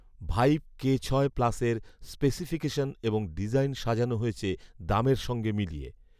vibe K ছয় প্লাসের specification এবং ডিজাইন সাজানো হয়েছে দামের সঙ্গে মিলিয়ে